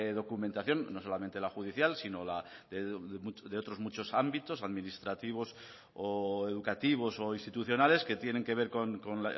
documentación no solamente la judicial sino de otros muchos ámbitos administrativos o educativos o institucionales que tienen que ver con